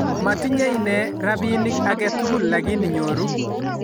matinye inee rabinik agetugul lakini nyoru